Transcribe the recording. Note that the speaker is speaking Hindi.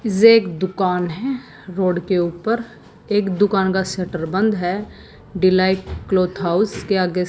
जेक दुकान है रोड के ऊपर एक दुकान का शटर बंद है डिलाइट क्लॉथ हाउस के आगे--